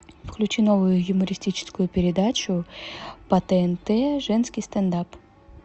включи новую юмористическую передачу по тнт женский стендап